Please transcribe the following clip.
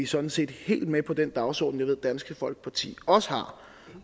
sådan set helt med på den dagsorden jeg ved dansk folkeparti også har